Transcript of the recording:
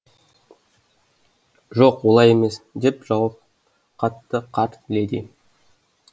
жоқ олай емес деп жауап қатты қарт леди